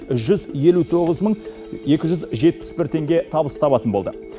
жүз елу тоғыз мың екі жүз жетпіс бір теңге табыс табатын болды